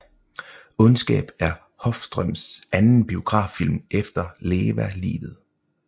Ondskab er Håfstrøms anden biograffilm efter Leva livet